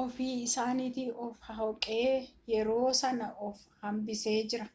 ofii isaatiin of-holqe yeroo san of hambisees jira